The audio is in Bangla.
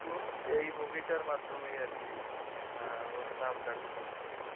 এই movie টার মাধ্যমেই আরকি আহ ওর নাম ডাক উঠেছে।